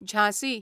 Jhansi